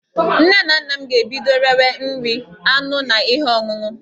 Nne na nna m ga-ebido rewe nri, anụ na ihe ọṅụṅụ